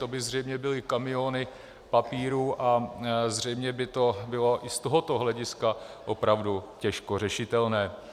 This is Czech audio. To by zřejmě byly kamiony papírů a zřejmě by to bylo i z tohoto hlediska opravdu těžko řešitelné.